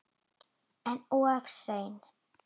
En of seinn.